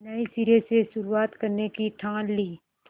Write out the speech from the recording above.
नए सिरे से शुरुआत करने की ठान ली